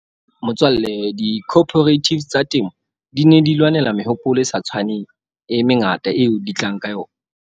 Motswalle di-cooperatives tsa temo di ne di lwanela mehopolo e sa tshwaneng e mengata, eo di tlang ka yona.